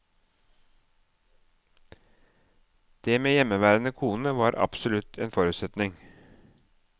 Det med hjemmeværende kone var en absolutt forutsetning.